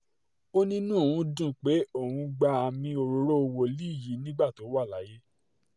ó ní inú òun dùn pé òun gba àmì òróró wòlíì yìí nígbà tó wà láyé